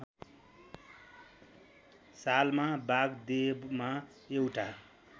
सालमा वागदेवमा एउटा